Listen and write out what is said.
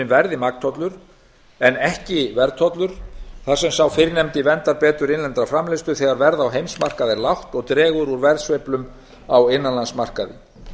verði magntollur en ekki verðtollur þar sem sá fyrrnefndi verndar betur innlenda framleiðslu þegar verð á heimsmarkaði er lágt og dregur úr verðsveiflum á innanlandsmarkaði